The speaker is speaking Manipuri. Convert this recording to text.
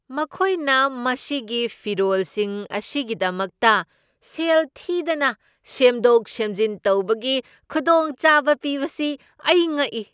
ꯃꯈꯣꯏꯅ ꯃꯁꯤꯒꯤ ꯐꯤꯔꯣꯜꯁꯤꯡ ꯑꯁꯤꯒꯤꯗꯃꯛꯇ ꯁꯦꯜ ꯊꯤꯗꯅ ꯁꯦꯝꯗꯣꯛ ꯁꯦꯝꯖꯤꯟ ꯇꯧꯕꯒꯤ ꯈꯨꯗꯣꯡꯆꯥꯕ ꯄꯤꯕꯁꯤ ꯑꯩ ꯉꯛꯏ!